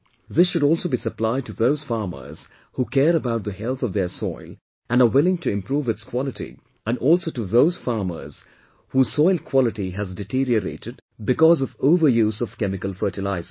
This should also be supplied to those farmers who care about the health of their soil and are willing to improve its quality and also to those farmers whose soil quality has deteriorated because of over use of chemical fertilizers